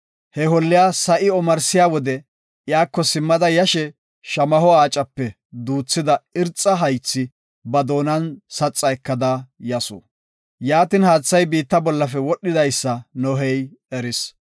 He holliya sa7i omarsiya wode iyako simmada yashe shamaho aacape duuthida irxa haythi ba doonan saxa ekada yasu. Yaatin, haathay biitta bollafe wodhidaysa Nohey eris.